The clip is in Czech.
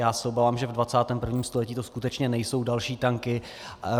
Já se obávám, že ve 21. století to skutečně nejsou další tanky.